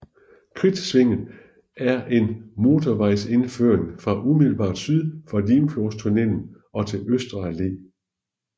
Kridtsvinget er en motorvejsindføring fra umiddelbart syd for Limfjordstunnelen og til Østre Alle